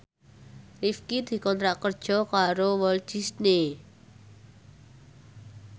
Rifqi dikontrak kerja karo Walt Disney